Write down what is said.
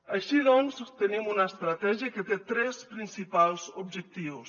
així doncs tenim una estratègia que té tres principals objectius